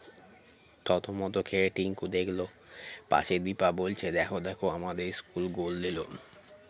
থতমত খেয়ে টিংকু দেখলো পাশে দিপা বলছে দেখো দেখো আমাদের school goal দিল